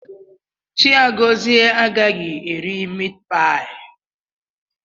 Chigọzie agaghị eri mitpaị a.